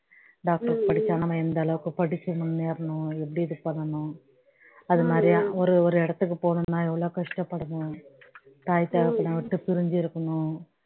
doctor படிச்சா நாம எந்த அளவுக்கு படிச்சு முன்னேறணும் எப்படி இது பண்ணணும் அது மாதிரி ஒரு ஒரு இடத்துக்கு போகணும்ன்னா எவ்வளவு கஷ்டப்படணும் தாய் தகப்பனை விட்டு பிரிஞ்சு இருக்கணும்